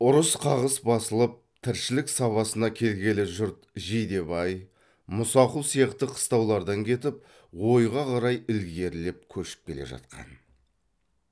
ұрыс қағыс басылып тіршілік сабасына келгелі жұрт жидебай мұсақұл сияқты қыстаулардан кетіп ойға қарай ілгерілеп көшіп келе жатқан